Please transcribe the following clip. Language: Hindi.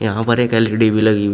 यहां पर एक एल_सी_डी भी लगी हुई--